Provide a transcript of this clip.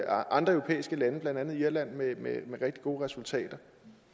andre europæiske lande blandt andet irland med rigtig gode resultater